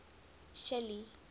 shelly